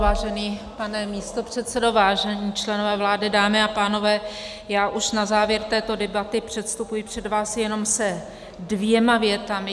Vážený pane místopředsedo, vážení členové vlády, dámy a pánové, já už na závěr této debaty předstupuji před vás jenom se dvěma větami.